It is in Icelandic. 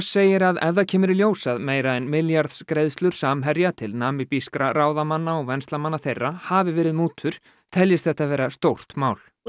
segir að ef það kemur í ljós að meira en milljarðs greiðslur Samherja til ráðamanna og venslamanna þeirra hafi verið mútur teljist þetta vera stórt mál og